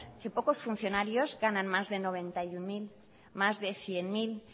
que pocos funcionarios ganan más de noventa y uno mil más de cien mil